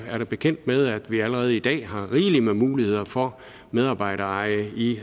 jeg er bekendt med at vi allerede i dag har rigelig med muligheder for medarbejdereje i